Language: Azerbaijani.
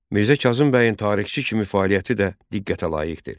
Mirzə Kazım bəyin tarixçi kimi fəaliyyəti də diqqətə layiqdir.